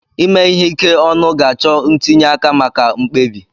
Ime ihe ike ọnụ ga-achọ ntinye aka maka mkpebi.